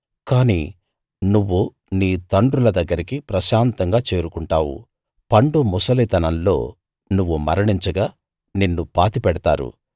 కాని నువ్వు నీ తండ్రుల దగ్గరికి ప్రశాంతంగా చేరుకుంటావు పండు ముసలితనంలో నువ్వు మరణించగా నిన్ను పాతిపెడతారు